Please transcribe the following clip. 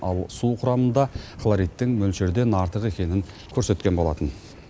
ал су құрамында хлоридтің мөлшерден артық екенін көрсеткен болатын